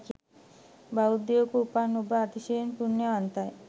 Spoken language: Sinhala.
බෞද්ධයකුව උපන් ඔබ අතිශය පුණ්‍යවන්තයි.